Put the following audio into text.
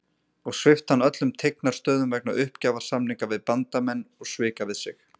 og svipt hann öllum tignarstöðum vegna uppgjafarsamninga við Bandamenn og svika við sig.